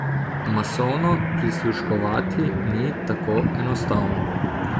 Masovno prisluškovati ni tako enostavno.